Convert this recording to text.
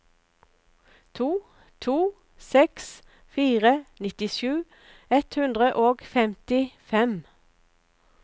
to to seks fire nittisju ett hundre og femtifem